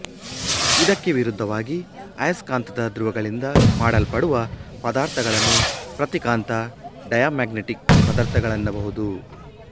ಇದಕ್ಕೆ ವಿರುದ್ಧವಾಗಿ ಅಯಸ್ಕಾಂತದ ಧ್ರುವಗಳಿಂದ ಮಾಡಲ್ಪಡುವ ಪದಾರ್ಥಗಳನ್ನು ಪ್ರತಿಕಾಂತ ಡಯಾಮ್ಯಾಗ್ನೆಟಿಕ್ ಪದಾರ್ಥಗಳೆನ್ನಬಹುದು